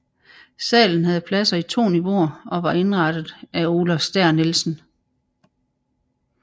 Salen havde pladser i to niveauer og var indrettet af Olaf Stær Nielsen